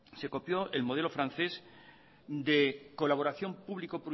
se copió el modelo francés de colaboración público